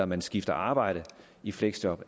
man skifter arbejde i fleksjob